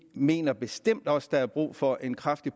mener bestemt også der er brug for en kraftig